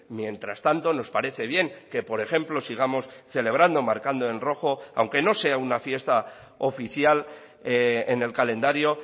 mientras tanto nos parece bien que por ejemplo sigamos celebrando marcando en rojo aunque no sea una fiesta oficial en el calendario